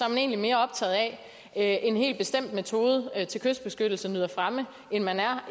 man egentlig mere optaget af at en helt bestemt metode til kystbeskyttelse nyder fremme end man er